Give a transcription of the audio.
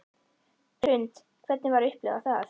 Hrund: Hvernig var að upplifa það?